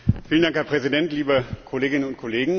Herr Präsident, liebe Kolleginnen und Kollegen!